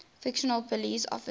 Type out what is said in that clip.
fictional police officers